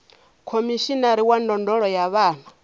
khomishinari wa ndondolo ya vhana